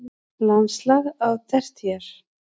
Landslag á tertíer